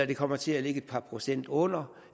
det kommer til at ligge et par procent under